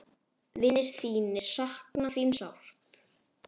Vinir þínir sakna þín sárt.